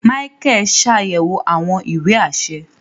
Micheal ṣayẹwo awọn ìwé aṣẹ